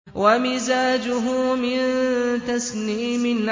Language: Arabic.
وَمِزَاجُهُ مِن تَسْنِيمٍ